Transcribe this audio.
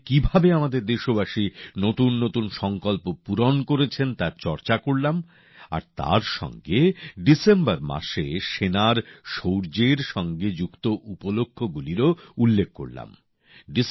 অমৃত কালে কিভাবে আমাদের দেশবাসী নতুন নতুন সংকল্প পূরণ করেছেন তার চর্চা করলাম আর তার সঙ্গে ডিসেম্বর মাসে সেনার শৌর্যের সঙ্গে যুক্ত উপলক্ষ গুলিরও উল্লেখ করলাম